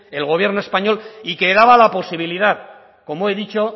el gobierno español y que daba la posibilidad como he dicho